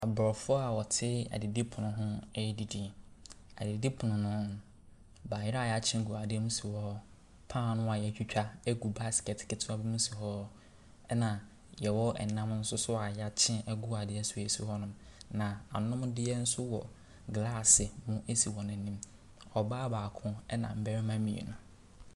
Aborɔfoɔ a wɔte adidipono ho ɛredidi. Adidipono no, bayerɛ a ayɛakye gu adeɛ mu sihɔ, paano a yɛatwitwa gu basket ketewa mu si hɔ na yɛwɔ nam nso yɛakye wɔ adeɛ mu nso si hɔnom. Na anomdeɛ nso wɔ glaase mu si wɔn anim, ɔbaa baako na mmarima mmienu.